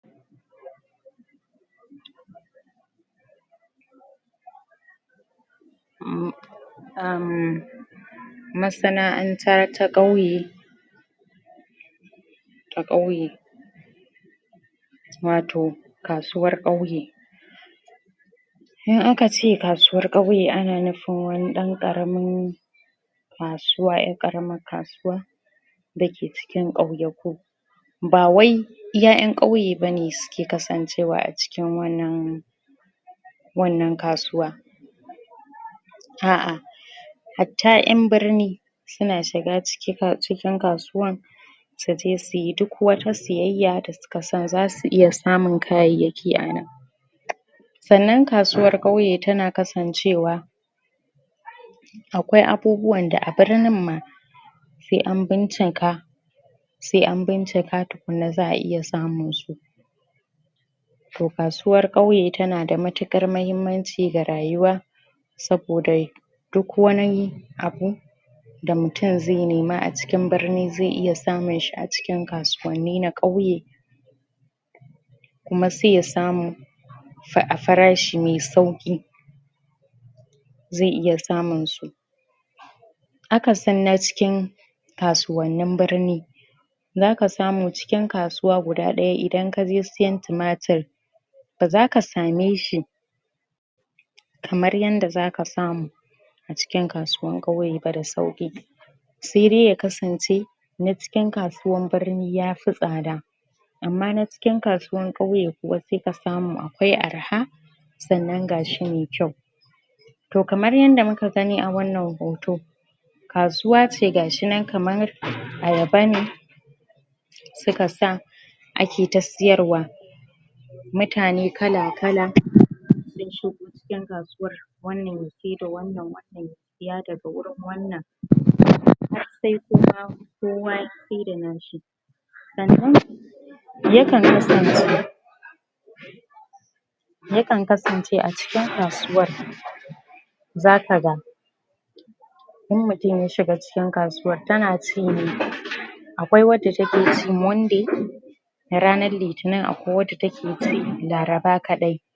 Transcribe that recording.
Masana'anta ta kauye ta kauye wato kasuwar kauye in aka ce kasuwar kauye ana nufin wani dan karamin kasuwa, yar karaman kasuwa da ke cikin kauyaku ba wai iya yan kauye bane, su ke kasancewa a cikin wannan wannan kasuwa ah ah hata yan birni su na shiga ciki, cikin kasuwan su je su yi, duk wata siyaya da su ka san za su iya samun kayayaki anan sannan kasuwar kauye, ta na kasancewa akwai abubuwan da a birnin ma sai an binchika sai an binchika tukunna za a iya samun su toh kasuwar kauye, ta na da mutukar mahimanci ga rayuwa saboda duk wani abu da mutum zai nima a cikin birni, zai iya samun shi a cikin kasuwanni na kauye kuma sai ya samu a farashi mai sauki zai iya samun su a ka san na cikin kasuwannin birni za ka samu cikin kasuwa guda daya, idan ka je siyan tomatur ba za ka same shi kamar yada za ka samu a cikin kasuwan kauye ba, da sauki sai dai ya kasance na cikin kasuwan birni ya fi tsada ama na cikin kasuwan kauye kuwa sai ka samu akwai arha sannan gashi mai kyau toh kamar yada muka gani a wannan hoto kasuwa ce gashinan kamar ayaba ne su ka sa ake ta siyar wa mutane kala kala sun shigo cikin kasuwa wannan ya saida wannan wannan ya siya da ga wurin wannan har sai kowa, kowa ya saida na shi sannan ya kan kasance ya kan kasance a cikin kasuwa sa ka gan in mutum ya shiga cikin kasuwar, ta na ci ne akwai wanda ta ke ci monday ranar litinin akwai wada ta ke ci laraba kadai